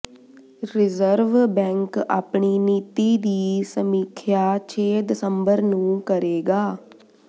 reserve bank ਆਪਣੀ ਨੀਤੀ ਦੀ ਸਮੀਖਿਆ ਛੇ ਦਸੰਬਰ ਨੂੰ ਕਰੇਗਾ